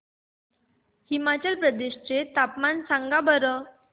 हिमाचल प्रदेश चे तापमान सांगा बरं